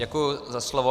Děkuji za slovo.